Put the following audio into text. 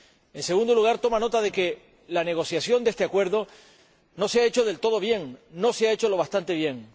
En segundo lugar, toma nota de que la negociación de este acuerdo no se ha hecho del todo bien, no se ha hecho lo bastante bien.